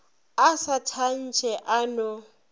a sa tantshe a no